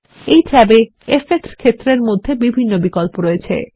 এই ট্যাবে ইফেক্টস ক্ষেত্রের মধ্যে বিভিন্ন বিকল্প রয়েছে